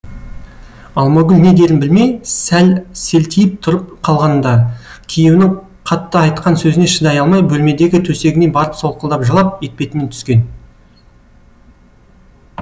алмагүл не дерін білмей сәл селтиіп тұрып қалған да күйеуінің қатты айтқан сөзіне шыдай алмай бөлмедегі төсегіне барып солқылдап жылап етпетінен түскен